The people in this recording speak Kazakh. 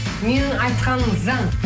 менің айтқаным заң